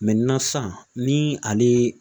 sisan ni ale